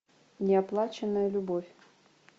неоплаченная любовь